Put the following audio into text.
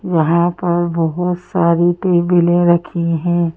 यहाँ पर बहुत सारी टेबिलें रखी हैं।